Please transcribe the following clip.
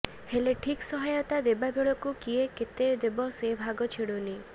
ହେଲେ ଠିକ୍ ସହାୟତା ଦେବା ବେଳକୁ କିଏ କେତେ ଦେବ ସେ ଭାଗ ଛିଡ଼ୁନି